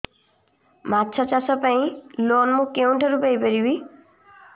ମାଛ ଚାଷ ପାଇଁ ଲୋନ୍ ମୁଁ କେଉଁଠାରୁ ପାଇପାରିବି